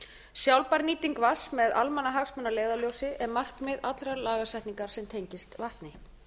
sjálfbær nýting vatns með almannahagsmuni að leiðarljósi er markmið allra lagasetningar sem tengist vatni